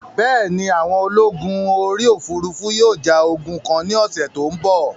Bẹ́ẹ̀ni, àwọn ológun orí òfurufú yóò ja ogun kan ní ọ̀sẹ̀ tó ń bọ̀